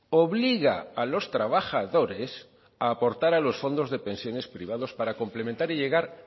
obliga a los trabajadores a aportar a los fondos de pensiones privados para complementar y llegar